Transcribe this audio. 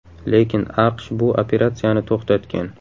Lekin AQSh bu operatsiyani to‘xtatgan.